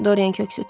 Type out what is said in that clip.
Dorian köks ötürdü.